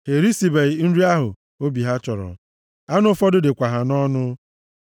Ha erisibeghị nri ahụ obi ha chọrọ, anụ ụfọdụ dịkwa ha nʼọnụ,